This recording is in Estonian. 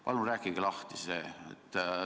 Palun rääkige see lahti!